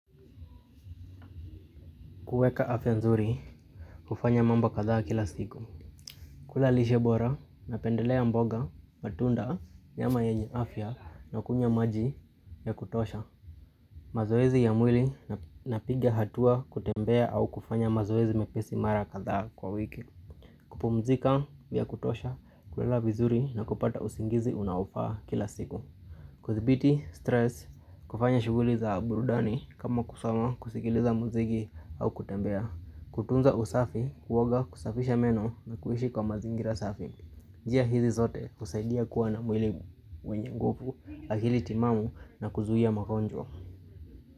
Kueka afya nzuri, kufanya mambo kadhaa kila siku. Kula lishe bora, napendelea mboga, matunda, nyama yenye afya na kunywa maji ya kutosha. Mazoezi ya mwili na piga hatua kutembea au kufanya mazoezi mepesi mara kadhaa kwa wiki. Kupumzika ya kutosha, kulala vizuri na kupata usingizi unaofaa kila siku. Kudhibiti stress, kufanya shuguli za burudani kama kusoma kusigiliza muzigi au kutembea. Kutunza usafi, kuoga kusafisha meno na kuhishi kwa mazingira usafi njia hizi zote husaidia kuwa na mwili mwenye nguvu, akili timamu na kuzuia mgonjwa.